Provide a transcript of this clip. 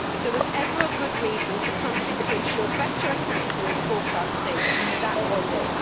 If there was ever a good reason for countries to ensure better accounting and forecasting, that was it.